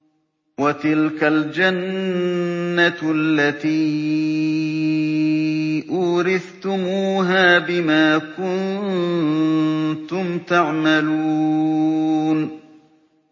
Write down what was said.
وَتِلْكَ الْجَنَّةُ الَّتِي أُورِثْتُمُوهَا بِمَا كُنتُمْ تَعْمَلُونَ